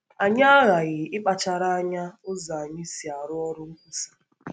Anyị aghaghị ịkpachara anya ụzọ anyị si arụ ọrụ nkwusa.